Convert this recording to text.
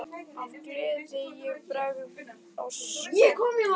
Af gleði ég bregð á skokk.